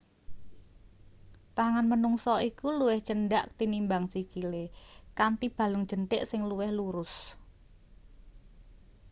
tangan menungsa iku luwih cendhak tinimbang sikile kanthi balung jenthik sing luwih lurus